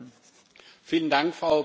Frau Präsidentin!